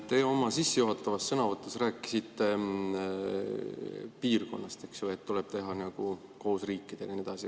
Te oma sissejuhatavas sõnavõtus rääkisite piirkonnast, eks ole, et tuleb teha koos teiste riikidega ja nii edasi.